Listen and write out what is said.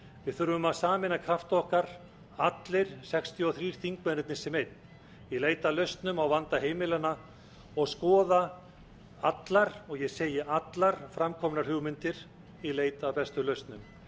við þurfum að sameina krafta okkar allir sextíu og þrjú þingmennirnir sem einn í leit að launum á vanda heimilanna og skoða allar og ég segi allar framkomnar hugmyndir í leit að bestu lausnum